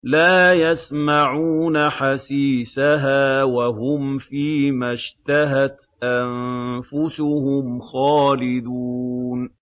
لَا يَسْمَعُونَ حَسِيسَهَا ۖ وَهُمْ فِي مَا اشْتَهَتْ أَنفُسُهُمْ خَالِدُونَ